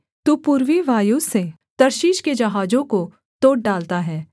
तू पूर्वी वायु से तर्शीश के जहाजों को तोड़ डालता है